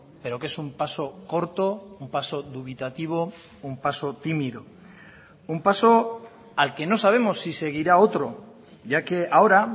pero que es un paso corto un paso dubitativo un paso tímido un paso al que no sabemos si seguirá otro ya que ahora